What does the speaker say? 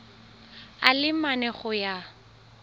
a le mane go ya